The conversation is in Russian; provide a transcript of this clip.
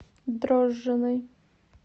дрожжиной